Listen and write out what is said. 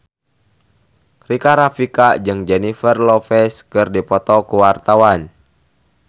Rika Rafika jeung Jennifer Lopez keur dipoto ku wartawan